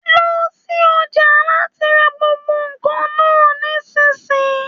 Lọ sí ọjà láti rà gbogbo nkan náà nisinyi!